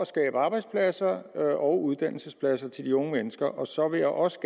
skabe arbejdspladser og uddannelsespladser til de unge mennesker så vil jeg også